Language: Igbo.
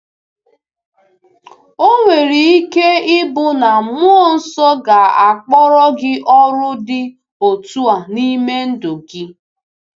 Ò nwere ike ịbụ na Mmụọ Nsọ ga-akpọrọ gị ọrụ dị otu a n’ime ndụ gị?